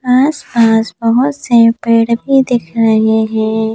आस-पास बहुत से पेड़ भी दिख रहे हैं।